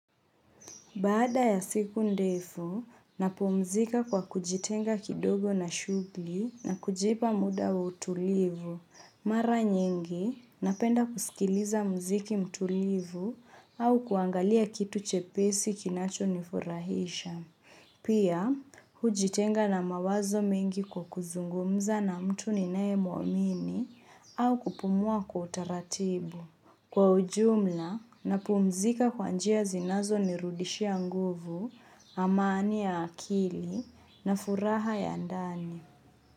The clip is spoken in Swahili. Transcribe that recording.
Baada ya siku ndefu, napumzika kwa kujitenga kidogo na shughli na kujipa muda wa utulivu. Mara nyingi, napenda kusikiliza mziki mtulivu au kuangalia kitu chepesi kinacho nifurahisha. Pia, hujitenga na mawazo mingi kwa kuzungumza na mtu ninayemuamini au kupumua kwa utaratibu. Kwa ujumla napumzika kwa njia zinazo nirudishia nguvu, amani ya akili na furaha ya ndani.